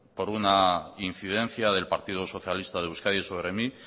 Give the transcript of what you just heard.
por una incidencia del partido socialista de euskadi sobre mí